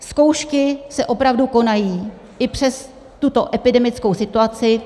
Zkoušky se opravdu konají i přes tuto epidemickou situaci.